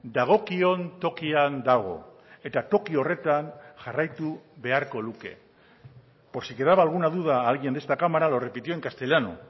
dagokion tokian dago eta toki horretan jarraitu beharko luke por si quedaba alguna duda a alguien de esta cámara lo repitió en castellano